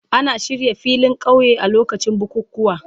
Ana shirya filin kauye a lokacin bukukuwa.